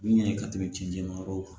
Min ye ka tɛmɛ cɛncɛn yɔrɔ kan